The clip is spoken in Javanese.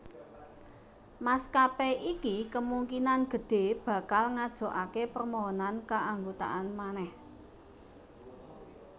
Maskapé iki kemungkinan gedhé bakal ngajokaké permohonan keanggotaan manèh